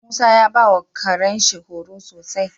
Musa ya bawa Karen shi horo sosai